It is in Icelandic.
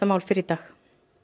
málið fyrr í dag